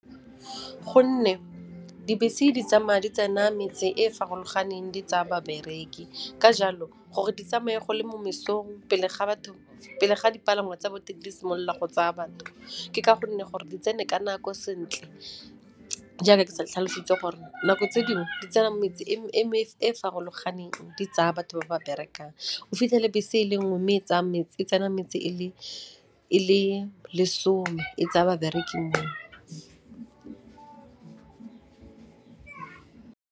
Gonne dibese di tsama'a di tsena metse e e farologaneng di tsaya babereki, ka jalo gore di tsamaye go le mo mesong pele ga dipalangwa tsa batho di simolola go tsaa batho. Ke ka gonne gore di tsene ka nako sentle jaaka ke sa tlhalositse gore nako tse dingwe, di tsena metse e e farologaneng di tsaya batho ba ba berekang. O fitlhele bese e le nngwe mme e tsena metse e le lesome e tsaya babereki moo.